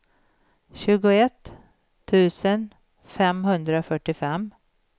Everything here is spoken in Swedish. tjugoett tusen femhundrafyrtiofem